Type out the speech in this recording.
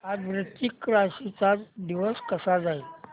आज वृश्चिक राशी चा दिवस कसा जाईल